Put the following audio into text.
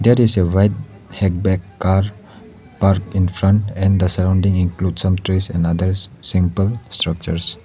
There is a white hackpack car park in front and the surrounding include some trees and others simple structures.